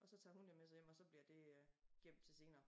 Og så tager hun det med sig hjem og så bliver det øh gemt til senere